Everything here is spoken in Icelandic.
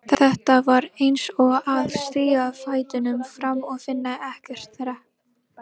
Þetta var eins og að stíga fætinum fram og finna ekkert þrep.